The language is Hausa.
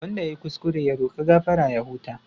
Wanda ya yi kuskure ya roka gafara ya huta.